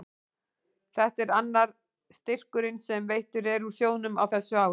Þetta er annar styrkurinn sem veittur er úr sjóðnum á þessu ári.